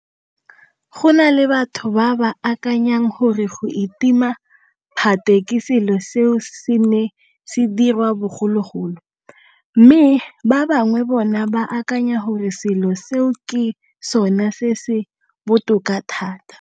Go na le batho ba ba akanyang gore go itima phate ke selo seo se neng se diriwa bogologolo, mme ba bangwe bona ba akanya gore selo seo ke sona se se botoka thata.